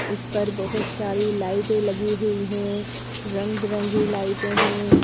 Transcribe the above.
उस पर बहुत सारी लाइटें लगी हुई हैं रंग बिरंगी लाइटें हैं।